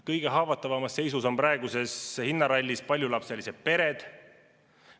Kõige haavatavamas seisus on praeguses hinnarallis paljulapselised pered.